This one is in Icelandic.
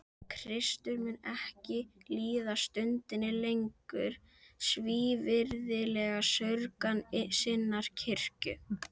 Kristur mun ekki líða stundinni lengur svívirðilega saurgan sinnar kirkju.